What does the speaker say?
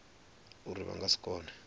uri vha nga si kone